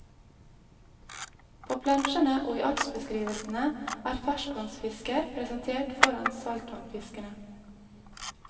På plansjene og i artsbeskrivelsene er ferskvannsfisker presentert foran saltvannfiskene.